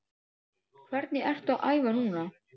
Hvernig ertu að æfa núna?